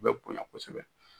U bɛ bonya kosɛbɛ